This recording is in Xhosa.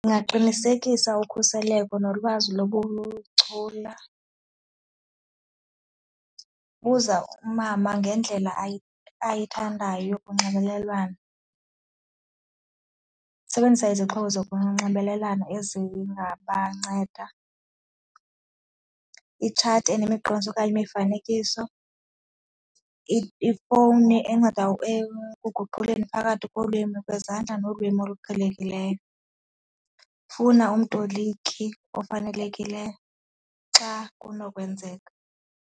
Ndingaqinisekisa ukhuseleko nolwazi lobuchula, buza umama ngendlela ayithandayo yonxibelelwano, sebenzisa izixhobo zokunxibelelana ezingabanceda itshati enemiqondiso okanye imifanekiso, ifowuni enceda ekuguquleni phakathi kolwimi kwezandla nolwimi oluqhelekileyo, funa umtoliki ofanelekileyo xa kunokwenzeka.